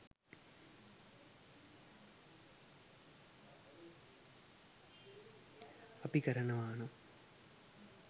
අපි කරනවානම්